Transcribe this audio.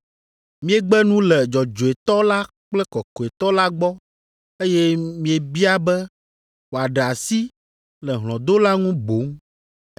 Miegbe nu le dzɔdzɔetɔ la kple kɔkɔetɔ la gbɔ eye miebia be wòaɖe asi le hlɔ̃dola ŋu boŋ.